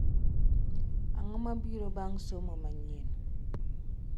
Ang’o ma biro bang’ Somo manyienni?